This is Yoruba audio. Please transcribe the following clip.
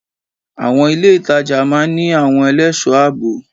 Àwon ilé ìtajà máa ní àwon elésòó àbò